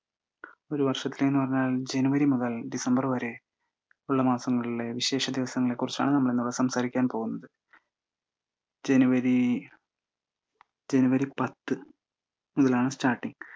ഒരു വർഷത്തിലെ എന്ന് പറഞ്ഞാൽ ജനുവരി മുതൽ ഡിസംബർ വരെ ഉള്ള മാസങ്ങളിലെ വിശേഷ ദിവസങ്ങളെക്കുറിച്ചാണ് നമ്മളിന്നിവിടെ സംസാരിക്കാൻ പോകുന്നത്. ജനുവരി ജനുവരി പത്ത് മുതലാണ് starting